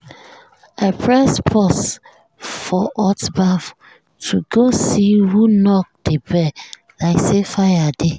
i press pause for hot baff to go see who knock the bell like say fire dey.